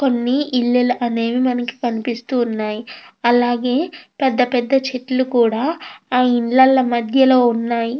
కొన్ని ఇల్లులు అనేది మనకు కనిపిస్తున్నాయి. అలాగే పెద్ద పెద్ద చెట్లు కూడా ఆ ఇళ్లల మధ్యలో ఉన్నాయి.